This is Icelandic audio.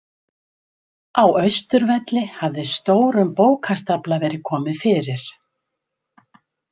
Á Austurvelli hafði stórum bókastafla verið komið fyrir.